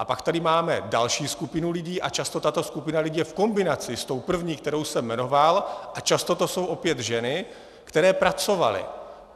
A pak tady máme další skupinu lidí a často tato skupina lidí je v kombinaci s tou první, kterou jsem jmenoval, a často to jsou opět ženy, které pracovaly.